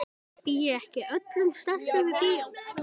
Býð ég ekki öllum stelpum í bíó?